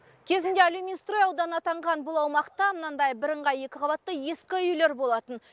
кезінде алюминстрой ауданы атанған бұл аумақта мынандай бірыңғай екі қабатты ескі үйлер болатын